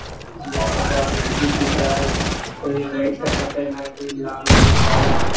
ये जो दिख रहा है कोई वाइट कपड़ा पहना है कोई लाल कोई काला।